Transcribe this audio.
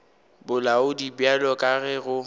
bolaodi bjalo ka ge go